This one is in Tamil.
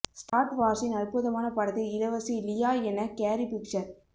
ஸ்டார்ட் வார்ஸின் அற்புதமான படத்தில் இளவரசி லியா என கேரி பிஷர்